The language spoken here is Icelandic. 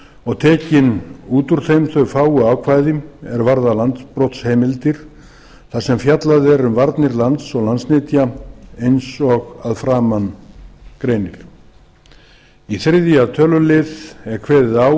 og tekin út úr þeim þau fáu ákvæði er varða landbrotsheimildir þar sem fjallað er um varnir lands og landsnytja eins og að framan greinir í þriðja tölulið er kveðið á